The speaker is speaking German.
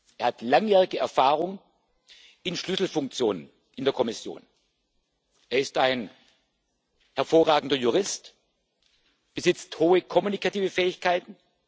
Er hat langjährige Erfahrung in Schlüsselfunktionen in der Kommission, er ist ein hervorragender Jurist, er besitzt hohe kommunikative Fähigkeiten.